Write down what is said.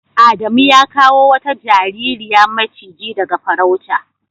Adamu ya kawo wata jaririya macigi daga farauta.